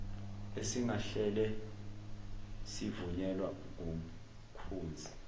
esingahle sivunyelwa ngumkhuzi